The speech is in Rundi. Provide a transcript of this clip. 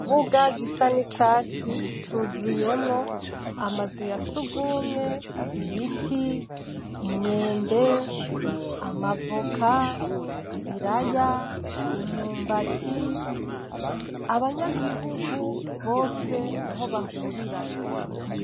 Ikibuga gisa nicatsi cuzuyemwo amazu yasugumwe, ibiti, imyembe, amavoka, ibiraya, imyumbati, abanyagihugu bose niho bahurira.